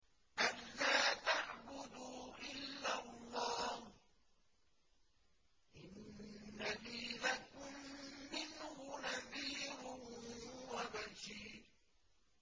أَلَّا تَعْبُدُوا إِلَّا اللَّهَ ۚ إِنَّنِي لَكُم مِّنْهُ نَذِيرٌ وَبَشِيرٌ